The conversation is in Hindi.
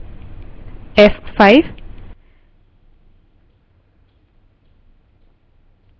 f5